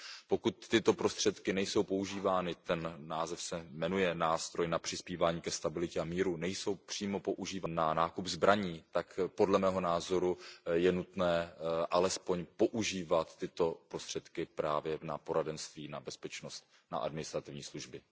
Pokud tyto prostředky nejsou používány ten název se jmenuje Nástroj na přispívání ke stabilitě a míru přímo na nákup zbraní, tak podle mého názoru je nutné alespoň používat tyto prostředky právě na poradenství, na bezpečnost, na administrativní služby.